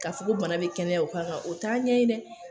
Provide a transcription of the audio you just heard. Kafo bana bɛ kɛnɛya o kan ka, o t'a ɲɛ dɛ !